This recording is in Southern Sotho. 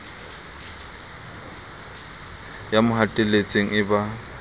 ya mo hatelletseng e ba